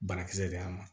Banakisɛ de y'a ma